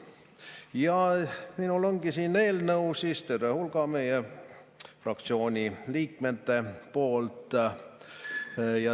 Ja minul ongi siin eelnõu terve hulga meie fraktsiooni liikmete poolt.